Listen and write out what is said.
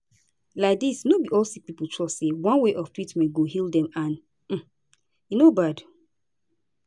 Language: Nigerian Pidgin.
laidis no be all sick pipo trust say one way of treatment go heal dem and um e no bad